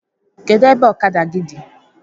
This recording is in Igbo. Kedụ ebe ọkada gị dị?